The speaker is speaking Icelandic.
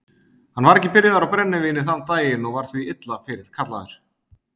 Hann var ekki byrjaður á brennivíni þann daginn og var því illa fyrirkallaður.